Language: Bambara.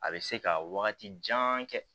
A bɛ se ka wagati jan kɛ